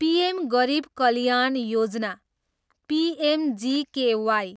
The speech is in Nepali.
पिएम गरिब कल्याण योजना, पिएमजिकेवाई